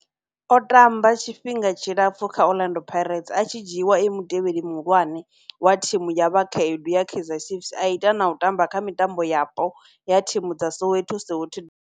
O tamba tshifhinga tshilapfhu kha Orlando Pirates, a tshi dzhiiwa e mutevheli muhulwane wa thimu ya vhakhaedu ya Kaizer Chiefs, a ita na u tamba kha mitambo yapo ya thimu dza Soweto, Soweto.